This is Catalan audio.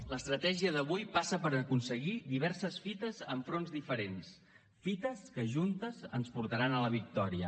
l’estratègia d’avui passa per aconseguir diverses fites en fronts diferents fites que juntes ens portaran a la victòria